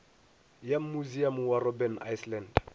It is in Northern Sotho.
ya musiamo wa robben island